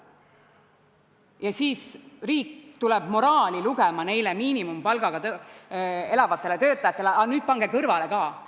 Ja siis tuleb riik nendele miinimumpalgaga elavatele töötajatele moraali lugema: aga nüüd pange kõrvale ka!